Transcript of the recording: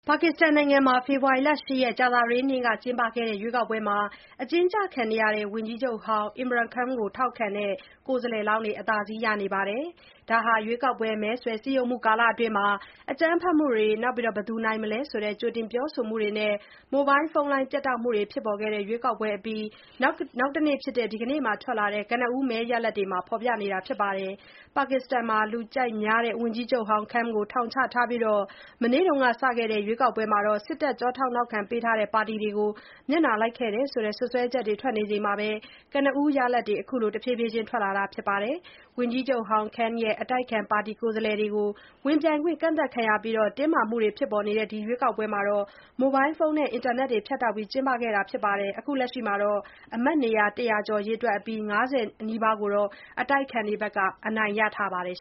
ပါကစ္စတန်နိုင်ငံမှာ ဖေဖော်ဝါရီ ၈ ရက်၊ ကြာသပတေးနေ့က ကျင်းပခဲ့တဲ့ ရွေးကောက်ပွဲမှာ အကျဉ်းကျခံနေရတဲ့ ဝန်ကြီးချုပ်ဟောင်း Imran Khan ကို ထောက်ခံတဲ့ ကိုယ်စားလှယ်လောင်းတွေက အသာစီးရနေပါတယ်။ ဒါဟာ ရွေးကောက်ပွဲ မဲဆွယ်စည်းရုံးမှုကာလအတွင်း အကြမ်းဖက်မှုတွေ၊ ဘယ်သူနိုင်မယ်ဆိုတဲ့ ကြိုတင် ပြောဆိုမှုတွေနဲ့ မိုဘိုင်းဖုန်းလိုင်း ပြတ်တောက်မှုတွေ ဖြစ်ပေါ်ခဲ့တဲ့ ရွေးကောက်ပွဲအပြီး နောက်တနေ့ ဒီကနေ့ ထွက်လာတဲ့ ကနဦး မဲရလဒ်တွေမှာ အဲဒီလို ဖော်ပြနေတာပါ။ ပါကစ္စတန်မှာ လူကြိုက်များ ဝန်ကြီးချုပ်ဟောင်း Khan ကို ထောင်ချထားပြီး၊ မနေ့ကစတဲ့ ဒီရွေးကောက်ပွဲမှာ စစ်တပ် ကျောထောက်နောက်ခံပေးထားတဲ့ ပါတီတွေကို မျက်နှာလိုက်ခဲ့တယ်လို့ စွပ်စွဲချက်တွေ ထွက်နေချိန်၊ ကနဦးရလဒ်တွေလည်း ခုလို တဖြည်းဖြည်းချင်းထွက်လာနေတာပါ။ ဝန်ကြီးချုပ်ဟောင်း Khan ရဲ့ အတိုက်အခံပါတီကိုယ်စားလှယ်တွေ ဝင်ပြိုင်ခွင့် ကန့်သတ်ခံခဲ့ရပြီး တင်းမာမှုတွေ ဖြစ်ပေါ်နေတဲ့ ဒီရွေးကောက်ပွဲကို မိုဘိုင်းဖုန်းနဲ့ အင်တာနက်တွေ ဖြတ်တောက်ပြီး ကျင်းပခဲ့တာမှာ၊ လက်ရှိ အမတ်နေရာ ၁၀၀ ကျော်ရေတွက်အပြီး နေရာ၅၀ နီးပါးကို အတိုက်အခံတွေ အနိုင်ရထားပါတယ်